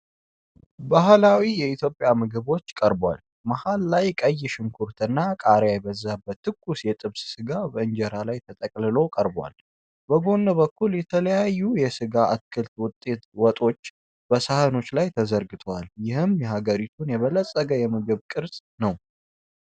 ባህላዊ የኢትዮጵያ ምግቦችን ቀርቧል። መሃል ላይ ቀይ ሽንኩርትና ቃሪያ የበዛበት ትኩስ የጥብስ ሥጋ በእንጀራ ላይ ተጠቅልሎ ቀርቧል። በጎን በኩል የተለያዩ የስጋና የአትክልት ወጦች በሳህኖች ላይ ተዘርግተዋል። ይህም የሀገሪቱን የበለጸገ የምግብ ቅርስ ነው።